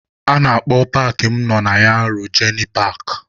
A na-akpọ paakị mụ nọ na ya Rojenị paakị.